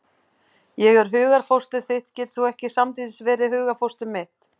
Ef ég er hugarfóstur þitt getur þú ekki samtímis verið hugarfóstur mitt.